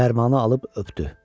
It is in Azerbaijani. Fərmanı alıb öpdü.